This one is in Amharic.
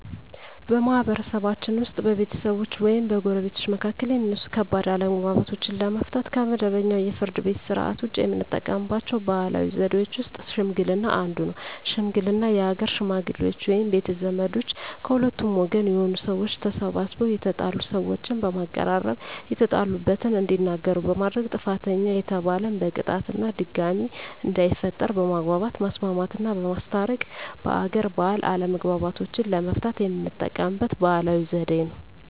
በማህበረሰብችን ውስጥ በቤተሰቦች ወይም በጎረቤቶች መካከል የሚነሱ ከባድ አለመግባባቶችን ለመፍታት (ከመደበኛው የፍርድ ቤት ሥርዓት ውጪ) የምንጠቀምባቸው ባህላዊ ዘዴዎች ውስጥ ሽምግልና አንዱ ነው። ሽምግልና የሀገር ሽመግሌዎች ወይም ቤተ ዘመዶች ከሁለቱም ወገን የሆኑ ሰዎች ተሰባስበው የተጣሉ ሰዎችን በማቀራረብ የተጣሉበትን እንዲናገሩ በማድረግ ጥፋተኛ የተባለን በቅጣት እና ድጋሜ እንዳይፈጠር በማግባባት ማስማማትና በማስታረቅ በሀገር ባህል አለመግባባቶችን ለመፍታት የምንጠቀምበት ባህላዊ ዘዴ ነው።